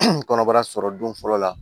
kɔnɔbara sɔrɔ don fɔlɔ la